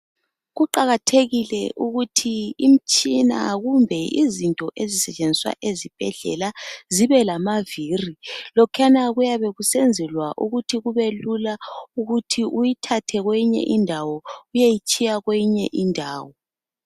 Kuqakathekile ukuthi imitshina kumbe izinto ezisetshenziswa esibhedlela zibe lamaviri lokhuyana kuyabe kusenzelwa ukuthi kulula ukuthi uyithathe kwenye indawo uyeyitshiya kwenye indawo